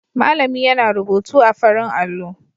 Malami yana rubutu a farin allo.